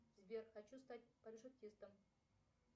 сбер хочу стать парашютистом